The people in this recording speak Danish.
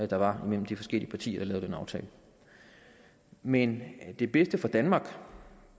der var mellem de forskellige partier som lavede den aftale men det bedste for danmark